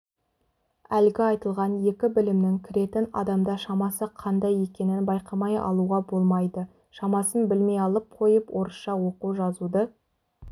әлгі айтылған екі білімнің кіретін адамда шамасы қандай екенін байқамай алуға болмайды шамасын білмей алып қойып орысша оқу-жазуды